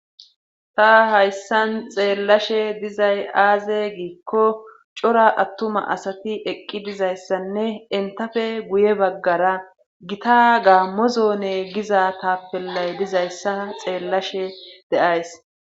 ta hayssan xeellashe dizay aaze giikko cora attuma asati eqqi dizayssanne entafe guye baggara gita gaammozoone giza tappellay dizayssa xeellashe de'ays